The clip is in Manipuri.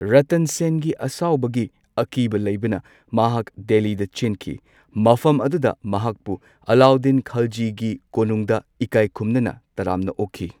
ꯔꯇꯟ ꯁꯦꯟꯒꯤ ꯑꯁꯥꯎꯕꯒꯤ ꯑꯀꯤꯕ ꯂꯩꯕꯅ ꯃꯍꯥꯛ ꯗꯦꯜꯂꯤ ꯆꯦꯟꯈꯤ꯫ ꯃꯐꯝ ꯑꯗꯨꯗ ꯃꯍꯥꯛꯄꯨ ꯑꯂꯥꯎꯗꯗꯤꯟ ꯈꯜꯖꯤꯒꯤ ꯀꯣꯅꯨꯡꯗ ꯏꯀꯥꯏ ꯈꯨꯝꯅꯅ ꯇꯔꯥꯝꯅ ꯑꯣꯛꯈꯤ꯫